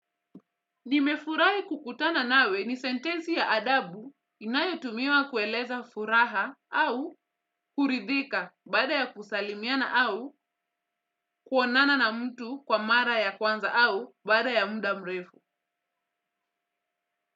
Nimefurahi kukutana nawe ni sentensi ya adabu inayotumiwa kueleza furaha au kuridhika baada ya kusalimiana au kuonana na mtu kwa mara ya kwanza au baada ya muda mrefu.